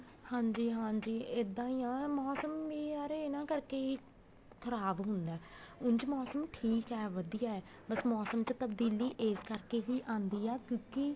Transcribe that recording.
ਹਾਂਜੀ ਹਾਂਜੀ ਇੱਦਾਂ ਹੀ ਆਂ ਮੋਸਮ ਏ ਯਾਰ ਇਹਨਾ ਕਰਕੇ ਹੀ ਖਰਾਬ ਹੁੰਦਾ ਉਂਝ ਮੋਸਮ ਠੀਕ ਹੈ ਵਧੀਆ ਹੈ ਬੱਸ ਮੋਸਮ ਚ ਤਬਦੀਲੀ ਇਸ ਕਰਕੇ ਹੀ ਆਉਂਦੀ ਆ ਕਿਉਂਕਿ